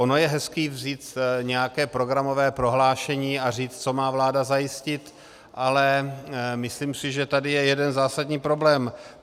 Ono je hezké vzít nějaké programové prohlášení a říct, co má vláda zajistit, ale myslím si, že tady je jeden zásadní problém.